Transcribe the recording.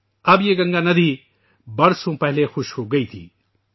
اب یہ ناگاندھی برسوں پہلے خشک ہو گئی تھی